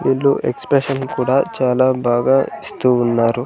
వీళ్లు ఎక్స్ప్రెషన్ కూడా చాలా బాగా ఇస్తూ ఉన్నారు.